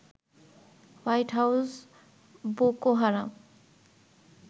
white House Boko হারাম